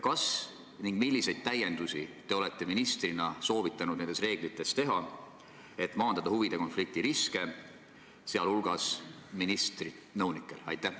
Kas ning kui, siis milliseid täiendusi te olete ministrina soovitanud nendes reeglites teha, et maandada huvide konflikti riske, sh ministri nõunike puhul?